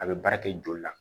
A bɛ baara kɛ joli la